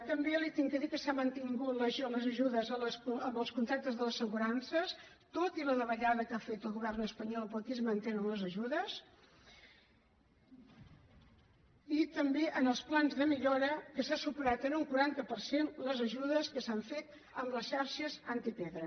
també li he de dir que s’han mantingut les ajudes amb els contractes de les assegurances tot i la davallada que ha fet el govern espanyol però aquí es mantenen les ajudes i també amb els plans de millora que s’han superat en un quaranta per cent les ajudes que s’han fet a les xarxes antipedra